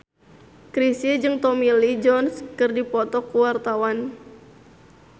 Chrisye jeung Tommy Lee Jones keur dipoto ku wartawan